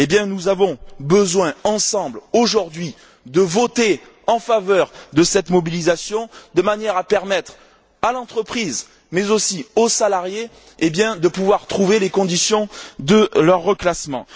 Nous avons besoin, ensemble, aujourd'hui, de voter en faveur de cette mobilisation de manière à permettre à l'entreprise, mais aussi aux salariés, de trouver les conditions de leur reclassement.